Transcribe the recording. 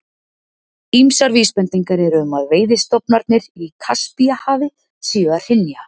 Ýmsar vísbendingar eru um að veiðistofnarnir í Kaspíahafi séu að hrynja.